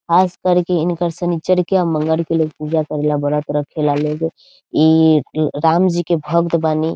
खासकर के इंकर शनीचर के आ मंगर के लोग पूजा करेला व्रत रखेला लोग ईअअ राम जी के भक्त बानी।